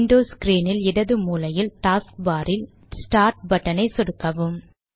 Windows ஸ்க்ரீனில் இடது மூலையில் டாஸ்க்பார் இல் ஸ்டார்ட் பட்டனை சொடுக்கவும்